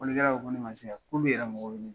Fɔlikɛlaw ko ne ma se yan, k'olu yɛrɛ mako bɛ ne la.